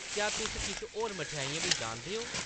क्या तुस किश होर मठेआइयां बी जानदे ओ ?